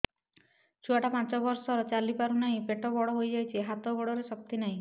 ଛୁଆଟା ପାଞ୍ଚ ବର୍ଷର ଚାଲି ପାରୁନାହଁ ପେଟ ବଡ ହୋଇ ଯାଉଛି ହାତ ଗୋଡ଼ର ଶକ୍ତି ନାହିଁ